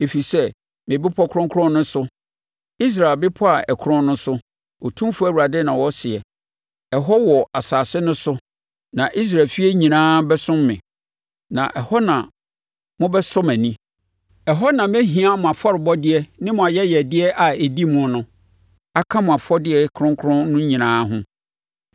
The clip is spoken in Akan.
Ɛfiri sɛ, me bɛpɔ kronkron no so, Israel bepɔ a ɛkorɔn no so, Otumfoɔ Awurade na ɔseɛ, ɛhɔ, wɔ asase no so na Israel efie nyinaa bɛsom me, na ɛhɔ na mobɛsɔ mʼani. Ɛhɔ na mɛhia mo afɔrebɔdeɛ ne mo ayɛyɛdeɛ a ɛdi mu no aka mo afɔdeɛ kronkron no nyinaa ho.